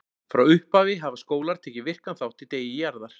Frá upphafi hafa skólar tekið virkan þátt í Degi Jarðar.